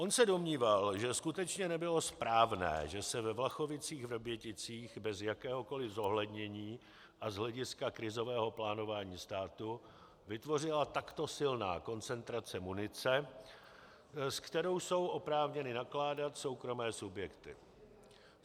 On se domníval, že skutečně nebylo správné, že se ve Vlachovicích-Vrběticích bez jakéhokoliv zohlednění a z hlediska krizového plánování státu vytvořila takto silná koncentrace munice, se kterou jsou oprávněny nakládat soukromé subjekty.